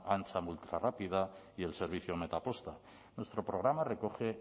ancha ultrarrápida y el servicio metaposta nuestro programa recoge